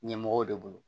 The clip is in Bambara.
Ɲɛmɔgɔw de bolo